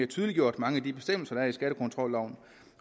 tydeliggjort mange af de bestemmelser der er i skattekontrolloven